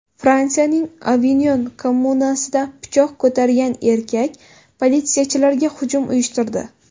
Fransiyaning Avinyon kommunasida pichoq ko‘targan erkak politsiyachilarga hujum uyushtirdi.